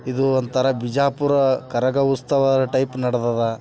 ಇದು ಒಂತರ ಬಿಜಾಪುರದ ಕರಗ ಉತ್ಸವ ಟೈಪ್ ನಡದದ್.